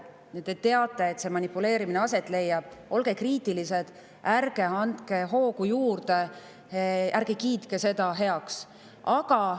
Kui te teate, et manipuleerimine aset leiab, siis olge kriitilised, ärge andke sellele hoogu juurde, ärge kiitke seda heaks.